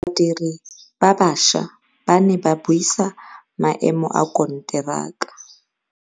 Badiri ba baša ba ne ba buisa maêmô a konteraka.